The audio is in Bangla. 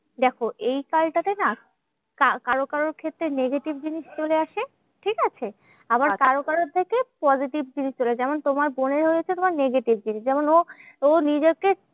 দেখো এই কালটা তে না কা কারোর কারোর ক্ষেত্রে negative জিনিস চলে আসে, ঠিকাছে? আবার কারোর কারোর থেকে positive জিনিস চলে। যেমন তোমার বোনেরও হয়েছে তোমার negative জিনিস। যেমন ও ও নিজেকে